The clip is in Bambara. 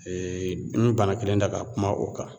Eee n mi bana kelen ta ka kuma o kan